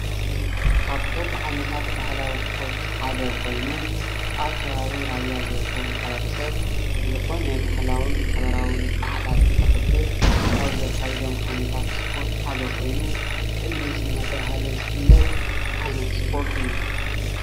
ካብቶም ዓይነታት ባህላዊ እስፖርት ሓደ ኮይኑ ኣብ ከባቢ ራያ ዝርከብ ማሕበረሰብ ዝኮነ ባህላዊን ማሕበራዊን በዓላት እንተክብር ካብ ዘካይዶም ዓይነታት እስፖርት ሓደ ኮይኑ ቅልስ እንዳተባሃለ ዝፍለጥ ዓይነት እስፖርት እዩ፡፡